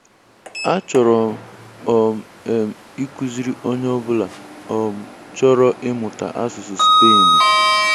A chọrọ um m ikuziri Onye Ọ bụla um chọrọ imuta asụsụ spainuu.